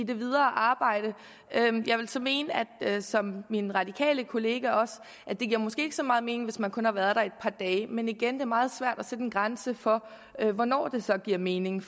det videre arbejde jeg vil så mene som min radikale kollega at det måske ikke giver så meget mening hvis man kun har været der et par dage men igen er det meget svært at sætte en grænse for hvornår det så giver mening